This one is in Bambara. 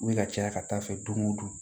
U bɛ ka caya ka taa fɛ don o don